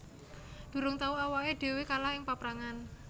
Durung tau awaké dhéwé kalah ing paprangan